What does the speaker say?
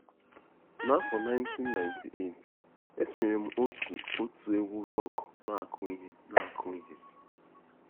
N'afọ 1998, esonyere m òtù òtù egwú rock na-akụ ihe na-akụ ihe.